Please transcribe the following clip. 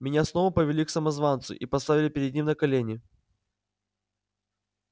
меня снова повели к самозванцу и поставили перед ним на колени